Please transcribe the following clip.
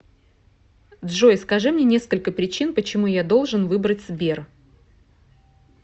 джой скажи мне несколько причин почему я должен выбрать сбер